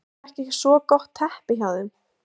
Er þetta ekki svo gott teppi hjá þeim?